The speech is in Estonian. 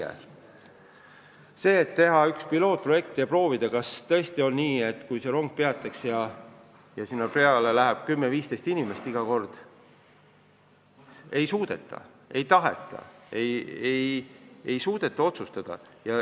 Ei suudeta, ei taheta otsustada, et teeks pilootprojekti ja prooviks, kas tõesti on nii, et kui see rong peatuks, siis sinna peale läheks Tabiverest kümme-viisteist inimest iga kord.